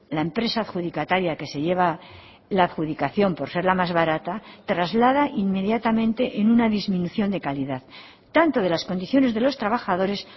la empresa adjudicataria que se lleva la adjudicación por ser la más barata traslada inmediatamente en una disminución de calidad tanto de las condiciones de los trabajadores